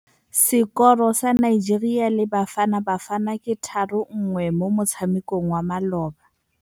Sekôrô sa Nigeria le Bafanabafana ke 3-1 mo motshamekong wa malôba.